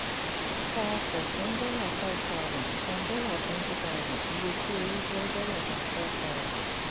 tà ọkọ̀ fún five thousand dollars; san twenty thousand dollars; iye ti o ri je twenty-five thousand dollars.